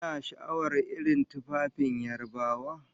Kana sha'awar irin tufafin Yarabawa?